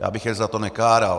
Já bych ji za to nekáral.